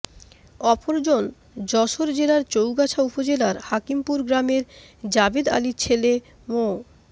অপরজন যশোর জেলার চৌগাছা উপজেলার হাকিমপুর গ্রামের জাবেদ আলির ছেলে মো